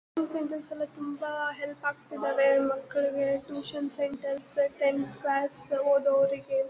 Tuition centres ಎಲ್ಲ ತುಂಬಾ help ಆಗ್ತಾ ಇದ್ದವೆ ಮಕ್ಕಳಿಗೆ ಟ್ಯೂಷನ್ ಸೆಂಟರ್ಸ್ ಟೆಂತ್ ಕ್ಲಾಸ್ ಓದೋ ಅವರಿಗೆ.